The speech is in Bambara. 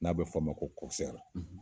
N'a be f'ama ko kɔkisɛri